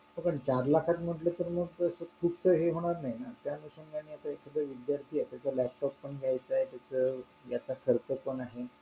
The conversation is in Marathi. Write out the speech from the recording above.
पण चार लाख म्हणलं तर मंग fees च होणार नाही ना त्यानुसार एखादी तो विद्यार्थी आहे त्याचं म्हणल्यास ते laptop पण घ्यायचे त्याचा आत्ताचा खर्च पण आहे